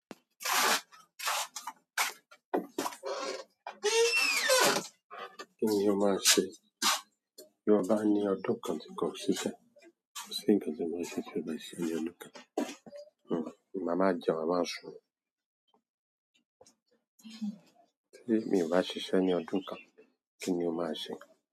Kí ni o máa ṣe? Bí mo bá ní ọdún kan tí kò sí ṣẹ́, kò sí nǹkan tí mo máa ṣe tí ó bá ṣe mi ọdún kan. Mama jẹ, mama sun. Mi ò bá ṣiṣẹ́ ní ọdún kan. Kí ni o máa ṣe?